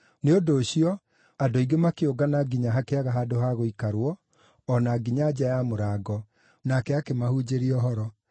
Nĩ ũndũ ũcio andũ aingĩ makĩũngana nginya hakĩaga handũ ha gũikarwo, o na nginya nja ya mũrango, nake akĩmahunjĩria ũhoro.